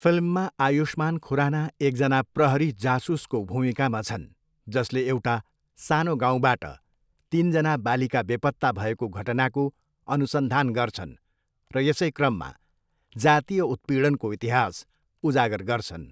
फिल्ममा आयुष्मान खुराना एकजना प्रहरी जासुसको भूमिकामा छन् जसले एउटा सानो गाउँबाट तिनजना बालिका बेपत्ता भएको घटनाको अनुसन्धान गर्छन् र यसै क्रममा जातीय उत्पीडनको इतिहास उजागर गर्छन्।